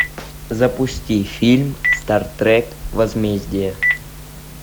запусти фильм стартрек возмездие